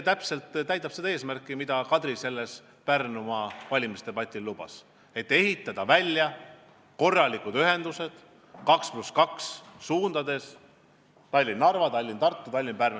Eesmärk on ehitada välja korralikud ühendused 2 + 2 suundades Tallinn–Narva, Tallinn–Tartu, Tallinn–Pärnu.